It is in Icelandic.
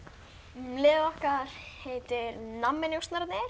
liðið okkar heitir